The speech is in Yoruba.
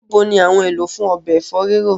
Níbo ní àwọn èlò fún obẹ̀ ẹfọ riro?